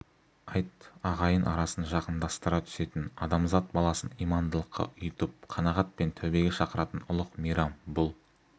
айт ағайын арасын жақындастыра түсетін адамзат баласын имандылыққа ұйытып қанағат пен тәубеге шақыратын ұлық мейрам бұл